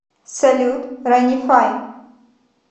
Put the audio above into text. салют ранифай